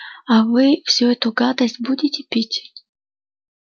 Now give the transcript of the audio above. а вы всю эту гадость будете пить